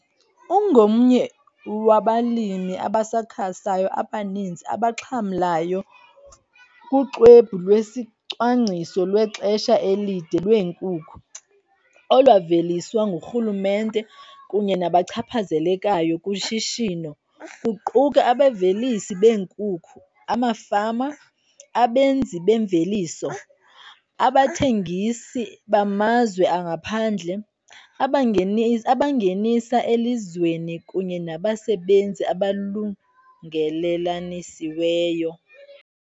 Ungomnye wabalimi abasakhasayo abaninzi abaxhamlayo kuXwebhu lweSicwangciso lweXesha elide lweeNkukhu, olwaveliswa ngurhulumente kunye nabachaphazelekayo kushishino, kuquka abavelisi beenkukhu, amafama, abenzi bemveliso, abathengisi bamazwe angaphandle, abangenisa elizweni kunye nabasebenzi abalungelelanisiweyo.